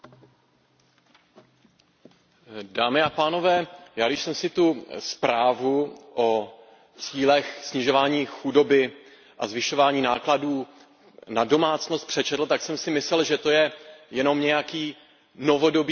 Já když jsem si tu zprávu o cílech snižování chudoby a zvyšování nákladů na domácnost přečetl, tak jsem si myslel, že je to jenom nějaký novodobý komunistický manifest, který vznikl na